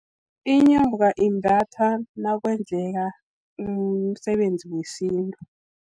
Inyoka, imbathwa nakwenzeka umsebenzi wesintu.